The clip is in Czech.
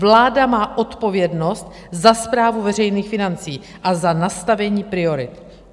Vláda má odpovědnost za správu veřejných financí a za nastavení priorit.